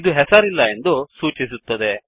ಇದು ಹೆಸರಿಲ್ಲ ಎಂದು ಸೂಚಿಸುತ್ತದೆ